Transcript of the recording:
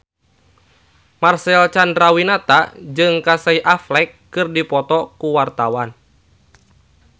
Marcel Chandrawinata jeung Casey Affleck keur dipoto ku wartawan